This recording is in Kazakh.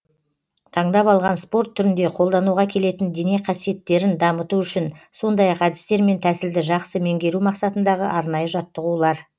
таңдап алған спорт түрінде қолдануға келетін дене қасиеттерін дамыту үшін сондай ақ әдістер мен тәсілді жақсы меңгеру мақсатындағы арнайы жаттығулар